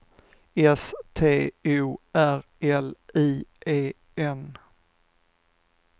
S T O R L I E N